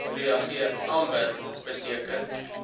reageer amber beteken